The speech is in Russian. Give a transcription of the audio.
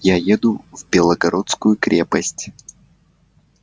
я еду в белогорскую крепость